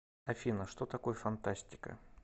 афина что такое фантастика